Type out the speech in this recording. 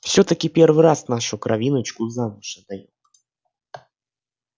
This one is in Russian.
всё-таки первый раз нашу кровиночку замуж отдаём